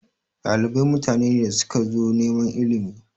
Ɗalibai mutane ne da suka zo neman ilimi.